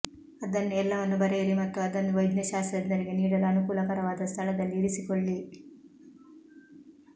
ಅದನ್ನು ಎಲ್ಲವನ್ನೂ ಬರೆಯಿರಿ ಮತ್ತು ಅದನ್ನು ವೈದ್ಯಶಾಸ್ತ್ರಜ್ಞರಿಗೆ ನೀಡಲು ಅನುಕೂಲಕರವಾದ ಸ್ಥಳದಲ್ಲಿ ಇರಿಸಿಕೊಳ್ಳಿ